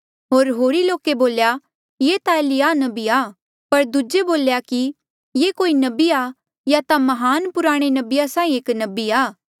होर होरी लोके बोल्या ये ता एलिय्याह नबी आ पर दूजे बोल्या कि ये कोई नबी आ या ता महान पुराणे नबिया साहीं एक नबी आ